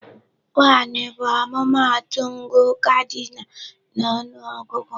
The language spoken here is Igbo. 1 bụ ọmụmaatụ ngụ cardinal na ọnụ ọgụgụ.